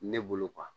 Ne bolo